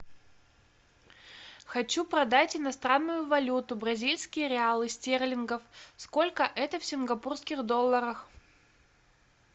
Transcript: хочу продать иностранную валюту бразильские реалы стерлингов сколько это в сингапурских долларах